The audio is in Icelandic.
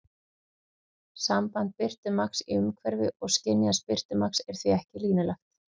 Samband birtumagns í umhverfi og skynjaðs birtumagns er því ekki línulegt.